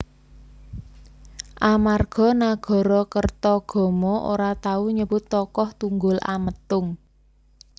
Amarga Nagarakertagama ora tau nyebut tokoh Tunggul Ametung